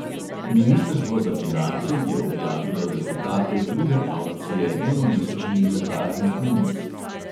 Ministrstvo za finance je objavilo rezultate druge avkcije enomesečnih zakladnih menic.